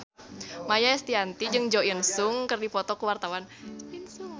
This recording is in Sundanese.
Maia Estianty jeung Jo In Sung keur dipoto ku wartawan